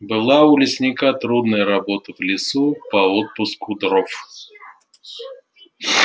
была у лесника трудная работа в лесу по отпуску дров